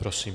Prosím.